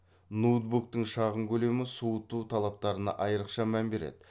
ноутбуктың шағын көлемі суыту талаптарына айрықша мән береді